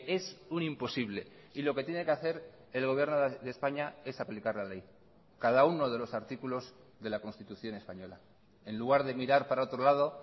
es un imposible y lo que tiene que hacer el gobierno de españa es aplicar la ley cada uno de los artículos de la constitución española en lugar de mirar para otro lado